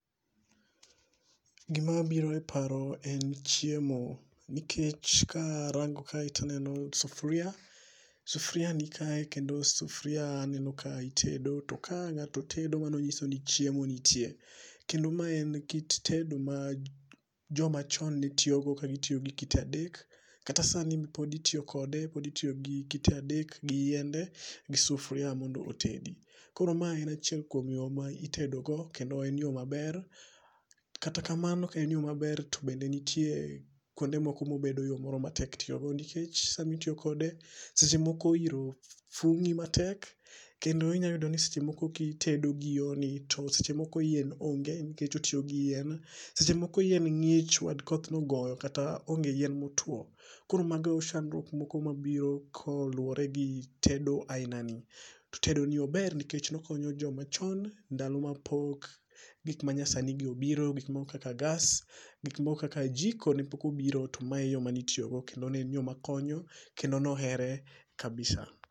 Gima biro e paro en chiemo. Nikech ka arango kae to aneno sufuria, sufuria nikae kendo sufuria aneno ka itedo to ka ng'ato tedo to mano nyiso ni chiemo nitie. Kendo ma en kit tedo ma jomachon netiyogo ka fitiyo gi kite adek kata sani pod itiyo kode pod itiyo gi kite adek gi yiende gi sufuria mondo otedi. Koro mae en achiel kuom yore ma itedogo kendo en yo maber. Kata kamano en yo maber to bende nitie kuonde moko mobedo yo matek tiyo go nikech sama itiyo kode, seche moko iro thung'i matek kendo inyalo yudo ni kitedo gi yorni to seche mok yien onge nikech otiyo gi yien. Seche moko yien ng'ich nikech koth ne ogoyo kata onge gi yien motuo. Koro mago sandruok moko mabiro koluwore gi tedo ainani. Tedo ni ober nikech nokonyo joma chon ndalo mapok gik manyasani gi obiro, gik moko kaka gas, gik moko kaka jiko ne pok obiro to ma e yo mane itiyo go kendo ne en yo makonyo kendo ne ohere kabisa.